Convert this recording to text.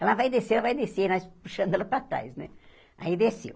Ela vai descer, ela vai descer, nós puxando ela para trás, né, aí desceu.